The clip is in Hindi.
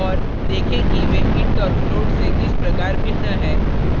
देखें कि वे int और float से किस प्रकार भिन्न है